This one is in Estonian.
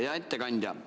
Hea ettekandja!